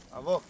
Alo.